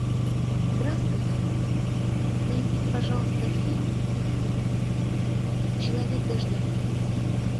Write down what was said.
здравствуйте найдите пожалуйста фильм человек дождя